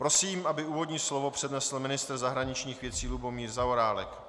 Prosím, aby úvodní slovo přednesl ministr zahraničních věcí Lubomír Zaorálek.